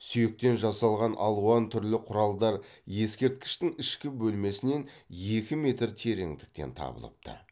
сүйектен жасалған алуан түрлі құралдар ескерткіштің ішкі бөлмесінен екі метр тереңдіктен табылыпты